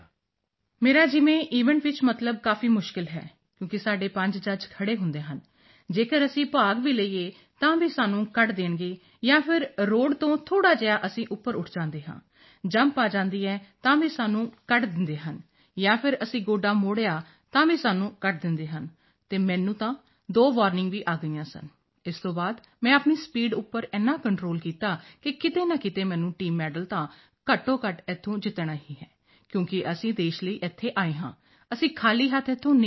ਮੇਰਾ ਜਿਵੇਂ ਈਵੈਂਟ ਵਿੱਚ ਮਤਲਬ ਕਾਫੀ ਮੁਸ਼ਕਿਲ ਹੈ ਕਿਉਂਕਿ ਸਾਡੇ 5 ਜੱਜ ਖੜ੍ਹੇ ਹੁੰਦੇ ਹਨ ਜੇਕਰ ਅਸੀਂ ਭਾਗ ਵੀ ਲਈਏ ਤਾਂ ਵੀ ਉਹ ਸਾਨੂੰ ਕੱਢ ਦੇਣਗੇ ਜਾਂ ਫਿਰ ਰੋਡ ਤੋਂ ਥੋੜ੍ਹਾ ਜਿਹਾ ਅਸੀਂ ਉੱਪਰ ਉੱਠ ਜਾਂਦੇ ਹਾਂ ਜੰਪ ਆ ਜਾਂਦੀ ਹੈ ਤਾਂ ਵੀ ਸਾਨੂੰ ਕੱਢ ਦਿੰਦੇ ਹਨ ਜਾਂ ਫਿਰ ਅਸੀਂ ਗੋਡਾ ਮੋੜਿਆ ਤਾਂ ਵੀ ਸਾਨੂੰ ਕੱਢ ਦਿੰਦੇ ਹਨ ਅਤੇ ਮੈਨੂੰ ਤਾਂ ਦੋ ਵਾਰਨਿੰਗ ਵੀ ਆ ਗਈਆਂ ਸਨ ਉਸ ਤੋਂ ਬਾਅਦ ਮੈਂ ਆਪਣੀ ਸਪੀਡ ਉੱਪਰ ਏਨਾ ਕੰਟਰੋਲ ਕੀਤਾ ਕਿ ਕਿਤੇ ਨਾ ਕਿਤੇ ਮੈਨੂੰ ਟੀਮ ਮੈਡਲ ਤਾਂ ਘੱਟੋਘੱਟ ਇੱਥੋਂ ਜਿੱਤਣਾ ਹੀ ਹੈ ਕਿਉਂਕਿ ਅਸੀਂ ਦੇਸ਼ ਲਈ ਇੱਥੇ ਆਏ ਹਾਂ ਅਸੀਂ ਖਾਲੀ ਹੱਥ ਇੱਥੋਂ ਨਹੀਂ ਜਾਣਾ